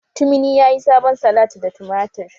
Tumini yayi sabon salat da tumatir